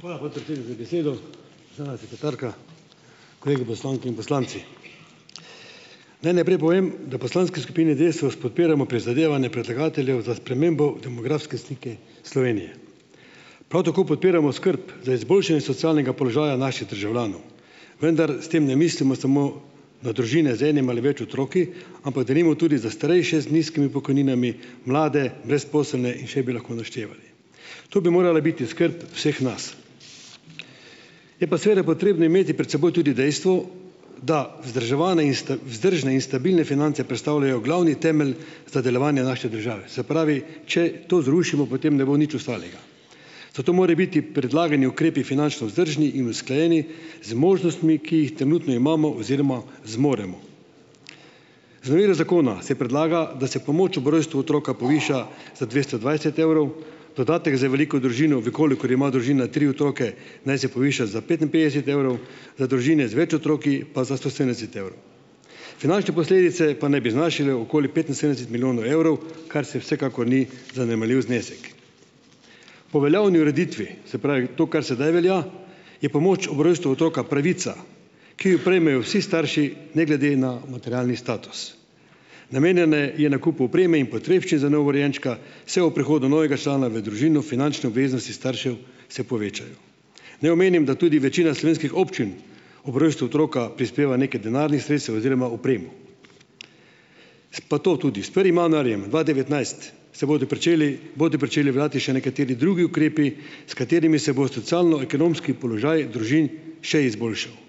Hvala, podpredsednik za besedo. Državna sekretarka, kolegi poslanke in poslanci. Naj najprej povem, da poslanski skupini Desus podpiramo prizadevanje predlagateljev za spremembo demografske slike Slovenije. Prav tako podpiramo skrb za izboljšanje socialnega položaja naših državljanov, vendar s tem ne mislimo samo na družine z enim ali več otroki, ampak denimo tudi za starejše z nizkimi pokojninami, mlade, brezposelne in še bi lahko naštevali. To bi morala biti skrb vseh nas. Je pa seveda potrebno imeti pred seboj tudi dejstvo, da vzdrževane in vzdržne in stabilne finance predstavljajo glavni temelj za delovanje naše države. Se pravi, če to zrušimo, potem ne bo nič ostalega. Zato more biti predlagani ukrepi finančno vzdržni in usklajeni z možnostmi, ki jih trenutno imamo oziroma zmoremo. Z novelo zakona se predlaga, da se pomoč ob rojstvu otroka poviša za dvesto dvajset evrov, dodatek za veliko družino, v kolikor ima družina tri otroke, naj se poviša za petinpetdeset evrov, za družine v več otroki pa za sto sedemdeset evrov. Finančne posledice pa naj bi znašale okoli petinsedemdeset milijonov evrov, kar se vsekakor ni zanemarljiv znesek. Po veljavni ureditvi, se pravi to, kar sedaj velja, je pomoč ob rojstvu otroka pravica, ki jo prejmejo vsi starši ne glede na materialni status. Namenjena je nakupu opreme in potrebščin za novorojenčka, vse ob prihodu novega člana v družino finančne obveznosti staršev se povečajo. Naj omenim, da tudi večina slovenskih občin ob rojstvu otroka prispeva nekaj denarnih sredstev oziroma opremo. Pa to tudi: s prvim januarjem dva devetnajst se bodo pričeli bodo pričeli veljati še nekateri drugi ukrepi, s katerimi se bo socialno-ekonomski položaj družin še izboljšal.